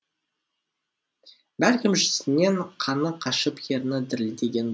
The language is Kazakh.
бәлкім жүзінен қаны қашып ерні дірілдеген